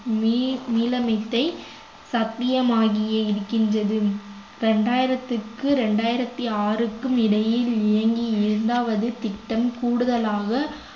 me~ மீள சத்தியமாகியே இருக்கின்றது இரண்டாயிரத்துக்கு இரண்டாயிரத்து ஆறுக்கும் இடையில் இயங்கி இரண்டாவது திட்டம் கூடுதலாக